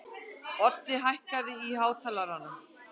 Oddi, hækkaðu í hátalaranum.